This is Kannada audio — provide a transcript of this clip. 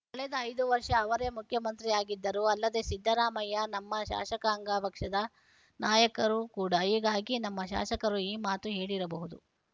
ಕಳೆದ ಐದು ವರ್ಷ ಅವರೇ ಮುಖ್ಯಮಂತ್ರಿಯಾಗಿದ್ದರು ಅಲ್ಲದೆ ಸಿದ್ದರಾಮಯ್ಯ ನಮ್ಮ ಶಾಸಕಾಂಗ ಪಕ್ಷದ ನಾಯಕರು ಕೂಡ ಹೀಗಾಗಿ ನಮ್ಮ ಶಾಸಕರು ಈ ಮಾತು ಹೇಳಿರಬಹುದು